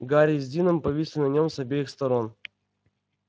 гарри с дином повисли на нем с обеих сторон